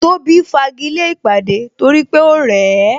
Tóbi fagile ìpàdé torí pé ó rẹ̀ ẹ